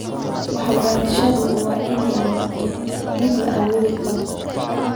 Waxbarashadu waa inay noqotaa mid la awoodi karo.